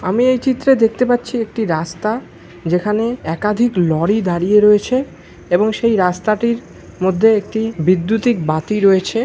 আমি এই চিত্রে দেখতে পাচ্ছি একটি রাস্তা যেখানে একাধিক লরি দাঁড়িয়ে রয়েছে এবং সেই রাস্তাটির মধ্যে একটি বিদ্যুতিক বাতি রয়েছে।